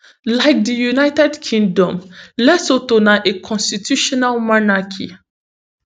like di united kingdom lesotho na a constitutional monarchy